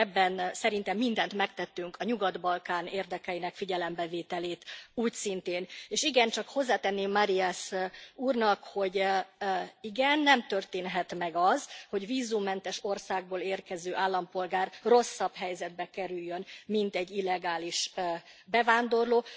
Úgyhogy ebben szerintem mindent megtettünk, a Nyugat Balkán érdekeinek figyelembevételét úgyszintén, és hozzátenném Marias úrnak, hogy nem, nem történhet meg az, hogy vízummentes országból érkező állampolgár rosszabb helyzetbe kerüljön, mint egy illegális bevándorló.